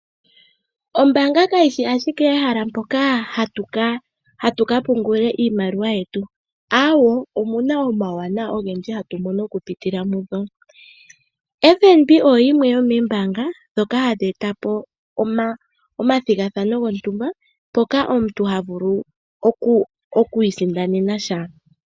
Ombaanga kayi shi ashike ehala moka hatu ka pungula iimaliwa yetu, ihe omu na omawuwanawa ogendji hatu mono okupitila mudho. FNB oyo yimwe yomoombaanga ndhoka hadhi e ta po omathigathano gontumba moka omuntu ha vulu oku isindanena sha.